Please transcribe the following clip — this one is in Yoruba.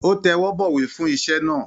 Ó tẹwọ́bọ̀wé fún iṣẹ́ náà.